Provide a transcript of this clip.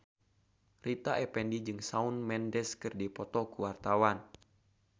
Rita Effendy jeung Shawn Mendes keur dipoto ku wartawan